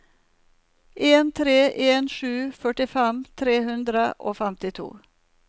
en tre en sju førtifem tre hundre og femtito